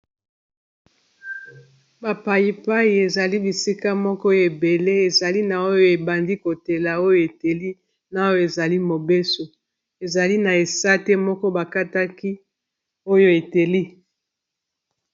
ba payipayi ezali bisika moko ebele ezali na oyo ebandi kotela oyo eteli na oyo ezali mobeso ezali na esate moko bakataki oyo eteli